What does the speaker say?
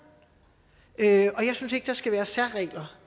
og jeg synes ikke der skal være særregler